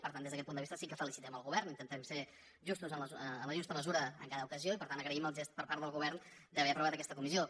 per tant des d’aquest punt de vista sí que felicitem el govern intentem ser justos en la justa mesura en cada ocasió i per tant agraïm el gest per part del govern d’haver aprovat aquesta comissió